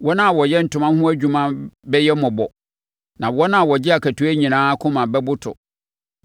Wɔn a wɔyɛ ntoma ho adwuma bɛyɛ mmɔbɔ na wɔn a wɔgye akatua nyinaa akoma bɛboto.